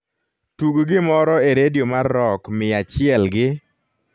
tug gimoro e redio mar rock mia achel gi